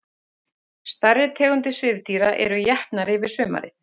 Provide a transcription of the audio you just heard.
Stærri tegundir svifdýra eru étnar yfir sumarið.